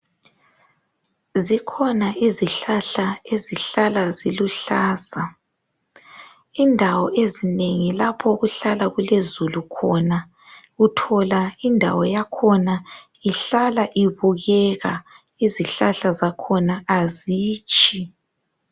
Zikhona izihlahla ezihlala ziluhlaza, indawo ezinengi lapho okuhlala kulezulu khona, uthola indawo yakhona ihlala ibukeka izihlahla zakhona azitshi